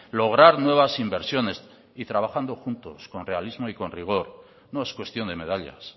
lograr nuevas inversiones y trabajando juntos con realismo y con rigor no es cuestión de medallas